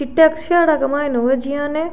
के मायने हुए जियान --